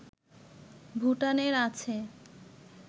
ভুটানের আছে